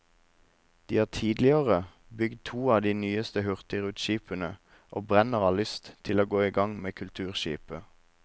De har tidligere bygd to av de nyeste hurtigruteskipene, og brenner av lyst til å gå i gang med kulturskipet.